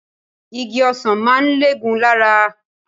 Igi ọsàn máa ń lẹ́gùn-ún lára